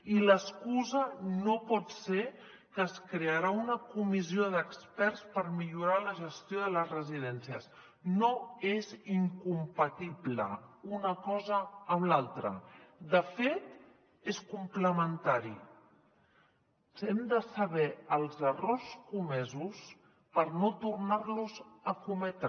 i l’excusa no pot ser que es crearà una comissió d’experts per millorar la gestió de les residències no és incompatible una cosa amb l’altra de fet és complementari hem de saber els errors comesos per no tornar los a cometre